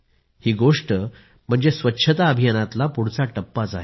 ही गोष्ट म्हणजे स्वच्छता अभियानातला पुढचा टप्पा आहे